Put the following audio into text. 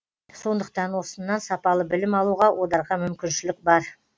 сондықтан осыннан сапалы білім алуға одарға мүмкіншілік бар